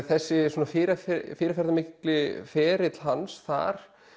þessi svona fyrirferðarmikli ferill hans þar